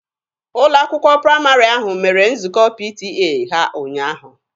Ụlọ akwụkwọ praịmarị ahụ mere nzukọ PTA ha ụnyaahụ.